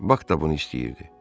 Bak da bunu istəyirdi.